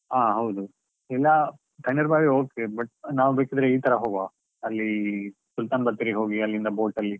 ಹಾ ಹೌದು, ಇಲ್ಲ ತಣ್ಣೀರ್ ಬಾವಿ okay but ನಾವು ಬೇಕಿದ್ರೆ ಇತರಾ ಹೋಗ್ವಾ, ಅಲ್ಲಿ Sultan Bathery ಗೆ ಹೋಗಿ ಅಲ್ಲಿಂದ boat ಅಲ್ಲಿ.